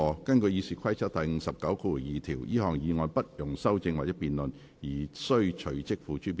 根據《議事規則》第592條，這項議案不容修正或辯論而須隨即付諸表決。